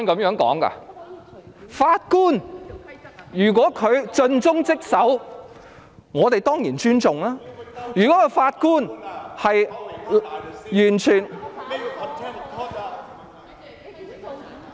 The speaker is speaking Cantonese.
如果法官盡忠職守，我們當然尊重，如果法官完全......